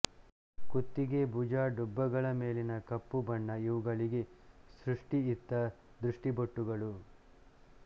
ಕುತ್ತಿಗೆ ಭುಜ ಡುಬ್ಬಗಳ ಮೇಲಿನ ಕಪ್ಪು ಬಣ್ಣ ಇವುಗಳಿಗೆ ಸೃಷ್ಟಿಯಿತ್ತ ದೃಷ್ಟಿಬೊಟ್ಟುಗಳು